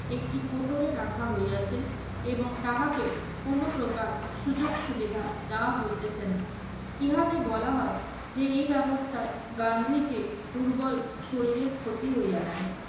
একটি কোটরে রাখা হইয়াছে এবং তাহাকে কোনো প্রকার সুযোগ সুবিধা দেওয়া হইতেছে না। ইহাতে বলা হয় যে এই ব্যবস্থায় গান্ধীজীর দুর্বল শরীরের ক্ষতি হইয়াছে।